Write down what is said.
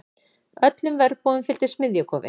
Öllum verbúðum fylgdi smiðjukofi.